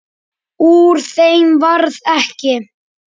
Úr þeim varð ekki.